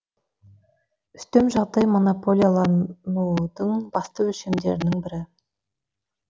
үстем жағдай монополияланудың басты өлшемдерінің бірі